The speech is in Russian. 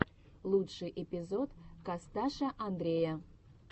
лучший эпизод косташа андрея